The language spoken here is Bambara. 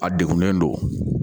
A degunnen don